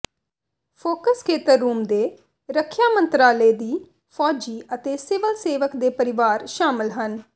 focus ਖੇਤਰ ਰੂਸ ਦੇ ਰੱਖਿਆ ਮੰਤਰਾਲੇ ਦੀ ਫੌਜੀ ਅਤੇ ਸਿਵਲ ਸੇਵਕ ਦੇ ਪਰਿਵਾਰ ਸ਼ਾਮਲ ਹਨ